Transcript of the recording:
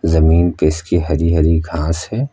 जमीन पे इसके हरी हरी घास है।